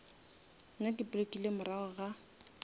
nna ke blockile morago ga